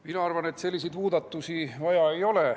Mina arvan, et selliseid muudatusi vaja ei ole.